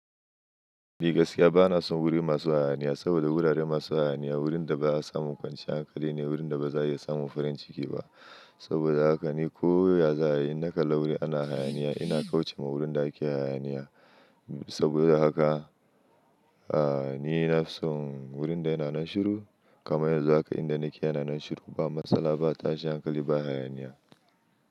Ni gaskiya bana son wuri masu hayaniya saboda wurare masu hayaniya, wurinda ba'a samu kwanciyar hankali ne, wurinda baza iya samun farin ciki ba. Saboda haka ni ko ya za'a yi, in na kalla wuri ana hayaniya ina kauce ma wurinda ake hayaniya. Saboda haka, a ni na fi son wurinda yana nan shiru. Kamar yanzu haka inda nake yana nan shiru, ba matsala ba, tashi hankali ba hayaniya.